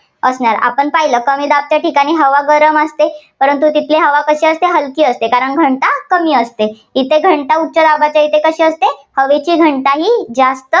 असणार. आपण पाहिलं कमी दाबच्या ठिकाणी हवा गरम असते परंतु तिथली हवा कशी असते हलकी असते, कारण घनता कमी असते. इथे घनता उच्चदाबाच्या इथे कशी असते हवेची घनताही जास्त